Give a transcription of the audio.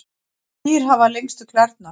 hvaða dýr hafa lengstu klærnar